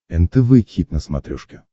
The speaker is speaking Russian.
нтв хит на смотрешке